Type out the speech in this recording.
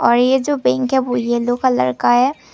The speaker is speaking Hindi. ये जो बैंक है वो येलो कलर का है।